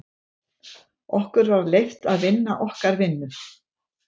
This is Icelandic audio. Okkur var leyft að vinna okkar vinnu.